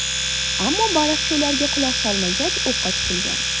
Ammo baliqchi ularga quloq solmagach, o‘qqa tutilgan.